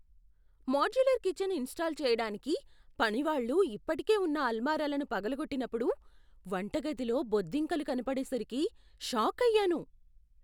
Modular kitchen install చేయడానికి పనివాళ్ళు ఇప్పటికే ఉన్న అల్మారాలను పగులగొట్టినప్పుడు వంటగదిలో బొద్దింకలు కనబడేసరికి షాకయ్యాను.